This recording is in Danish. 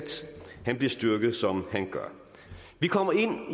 bliver styrket som han gør vi kommer ind